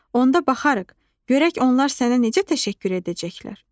Onda baxarıq, görək onlar sənə necə təşəkkür edəcəklər.